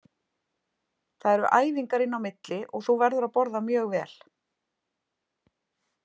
Það eru æfingar inn á milli og þú verður að borða mjög vel.